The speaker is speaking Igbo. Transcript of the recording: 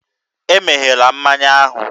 E meghela mmanya ahụ!